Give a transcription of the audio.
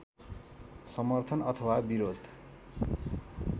समर्थन अथवा विरोध